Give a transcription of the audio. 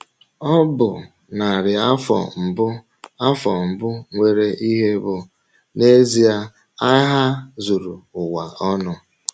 Ọ bụ narị afọ mbụ afọ mbụ nwere ihe bụ́ n’ezie agha zuru ụwa ọnụ...